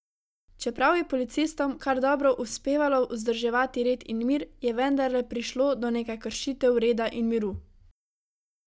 Čeprav je policistom kar dobro uspevalo vzdrževati red in mir, je vendarle prišlo do nekaj kršitev reda in miru.